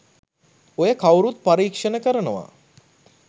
ඔය කව්රුත් පරීක්ෂණ කරනවා